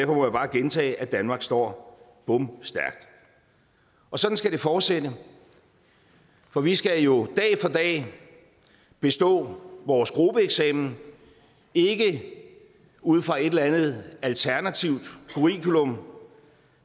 må jeg bare gentage at danmark står bomstærkt sådan skal det fortsætte for vi skal jo dag for dag bestå vores gruppeeksamen ikke ud fra et eller andet alternativt curriculum